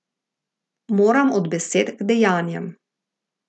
Moram od besed h dejanjem.